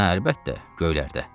Hə, əlbəttə, göylərdə.